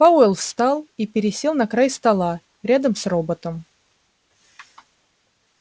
пауэлл встал и пересел на край стола рядом с роботом